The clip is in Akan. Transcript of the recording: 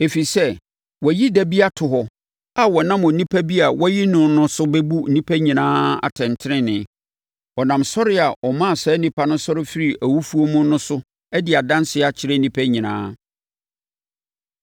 Ɛfiri sɛ, wayi da bi ato hɔ a ɔnam onipa bi a wayi no no so bɛbu nnipa nyinaa atɛntenenee. Ɔnam sɔre a ɔmaa saa onipa yi sɔre firii awufoɔ mu no so adi adanseɛ akyerɛ nnipa nyinaa.”